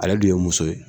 Ale dun ye muso ye